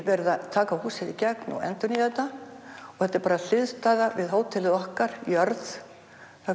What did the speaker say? verið að taka húsið allt í gegn og endurnýja þetta og þetta er bara hliðstæða við hótelið okkar jörð það